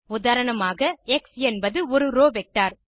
உதாரணமாக எக்ஸ் என்பது ஒரு ரோவ் வெக்டர்